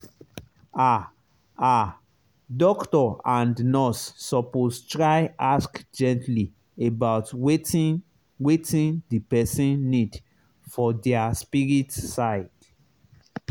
ah ah doctor and nurse suppose try ask gently about wetin wetin the person need for their spirit side.